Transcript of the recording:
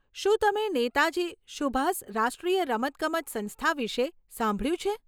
શું તમે નેતાજી સુભાષ રાષ્ટ્રીય રમતગમત સંસ્થા વિશે સાંભળ્યું છે?